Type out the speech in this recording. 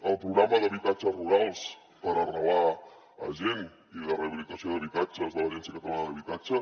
el programa d’habitatges rurals per arrelar gent i de rehabilitació d’habitatges de l’agència catalana d’habitatge